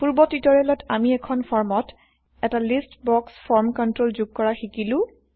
পূৰ্ব টিউটৰিয়েলত আমি এখন ফৰ্মত এটা লিষ্ট বক্স ফৰ্ম কন্ট্ৰল যোগ কৰা শিকিলো